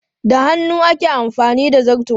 Da hannu ake amfani da zarto.